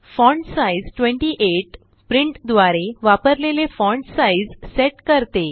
font size 28 print द्वारे वापरलेले font size set करते